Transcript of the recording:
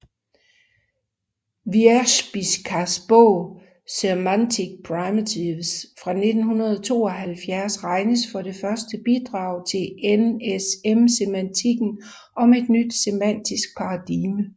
Wierzbickas bog Semantic Primitives fra 1972 regnes for det første bidrag til NSM semantikken som et nyt semantisk paradigme